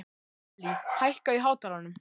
Allý, hækkaðu í hátalaranum.